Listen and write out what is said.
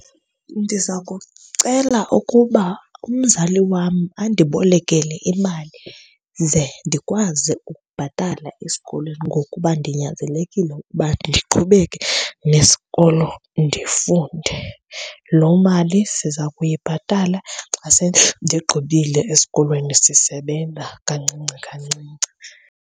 Ndiza kucela ukuba umzali wam andibolekele imali ze ndikwazi ukubhatala esikolweni ngokuba ndinyanzelekile ukuba ndiqhubeke nesikolo ndifunde. Loo mali siza kuyibhatala xa sendigqibile esikolweni sisebenza kancinci kancinci.